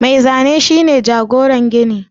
Mai Zane shi ne jagoran gini